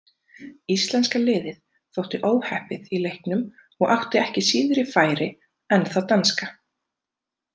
Íslenska liðið þótti óheppið í leiknum og átti ekki síðri færi en það danska.